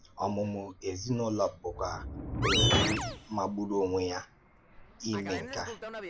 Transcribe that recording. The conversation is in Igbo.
Ọmụ̀mụ̀ ezinụlọ bụkwa ohere magburu onwe ya ime nke a.